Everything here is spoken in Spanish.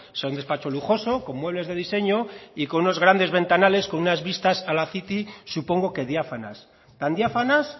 sino un despacho lujoso con muebles de diseño y con unos grandes ventanales y vista a la city supongo que diáfanas tan diáfanas